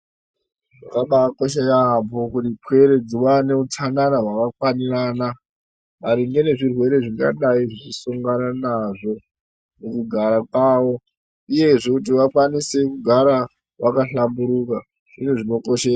Zvakabakosha yaamho kuti pwere dziwane hutsanana hwakafanirana maringe ngezvirwere zvingadai zvichisongana nazvo mukugara kwavo uyezve kuti vakwanise kugara vakahlamburuka uye zvinokoshe..